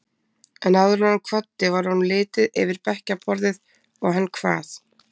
En áður en hann kvaddi var honum litið yfir bekkjarborðið og hann kvað